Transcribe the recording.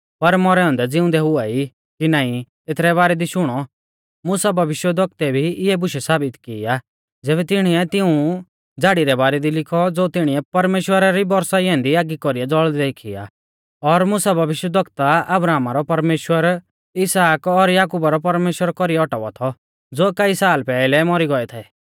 पर मौरै औन्दै ज़िउंदै हुआई कि नाईं एथरै बारै दी शुणौ मुसा भविष्यवक्तुऐ भी इऐ बुशै साबित की आ ज़ैबै तिणीऐ तिऊं झ़ाड़ी रै बारै दी लिखौ ज़ो तिणीऐ परमेश्‍वरा री बौरसाई ऐन्दी आगी कौरी ज़ौल़दै देखी आ और मुसा भविष्यवक्ता अब्राहमा रौ परमेश्‍वर इसहाक और याकुबा रौ परमेश्‍वरा कौरीऐ औटावा थौ ज़ो कई साल पैहलै मौरी गौऐ थै